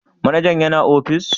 Manaja yana ofis?